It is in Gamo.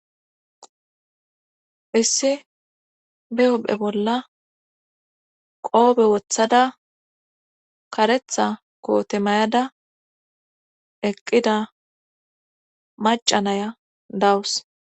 Issi be opphe bolla qoobe wothada karetha koote mayada eqqida macanaya dawus.